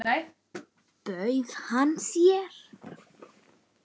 Bauð hann þér?